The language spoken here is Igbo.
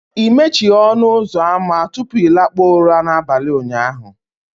ị mechighị ọnụ ụzọ ámá tupu ị lakpuo ụra n'abalị ụnyaahụ